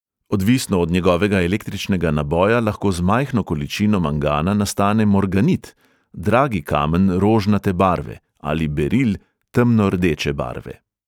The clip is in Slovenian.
Odvisno od njegovega električnega naboja lahko z majhno količino mangana nastane morganit, dragi kamen rožnate barve, ali beril temno rdeče barve.